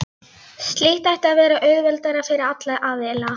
Slíkt ætti að vera auðveldara fyrir alla aðila.